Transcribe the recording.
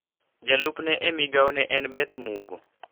Jalup ne e migao ne en Beth Mugo.